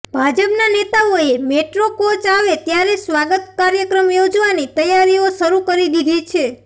ભાજપના નેતાઓએ metro coach આવે ત્યારે સ્વાગત કાર્યક્રમ યોજવાની તૈયારીઓ શરૂ કરી દીધી છે